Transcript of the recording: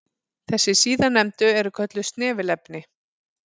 Þessi síðarnefndu eru kölluð snefilefni.